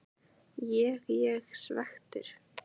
Ég ég svekktur?